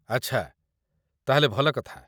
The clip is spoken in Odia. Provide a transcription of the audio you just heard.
ଆଚ୍ଛା, ତା'ହେଲେ ଭଲ କଥା ।